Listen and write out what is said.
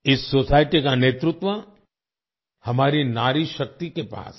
इस सोसाइटी का नेतृत्व हमारी नारीशक्ति के पास है